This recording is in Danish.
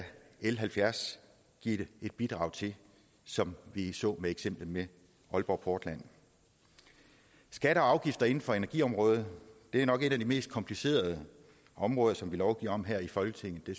l halvfjerds give et bidrag til som vi så med eksemplet med aalborg portland skatter og afgifter inden for energiområdet er nok et af de mest komplicerede områder som vi lovgiver om her i folketinget det